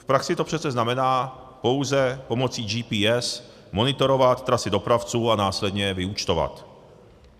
V praxi to přece znamená pouze pomocí GPS monitorovat trasy dopravců a následně je vyúčtovat.